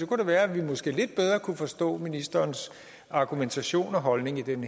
kunne det være at vi måske lidt bedre kunne forstå ministerens argumentation og holdning i den